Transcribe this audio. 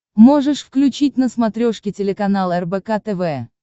можешь включить на смотрешке телеканал рбк тв